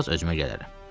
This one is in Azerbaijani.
Bir az özümə gələrəm.